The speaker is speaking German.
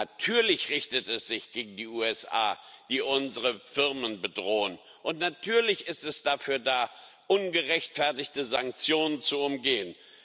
Natürlich richtet es sich gegen die USA, die unsere Firmen bedrohen, und natürlich ist es dafür da, ungerechtfertigte Sanktionen zu umgehen!